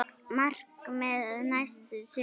Markmið næsta sumars?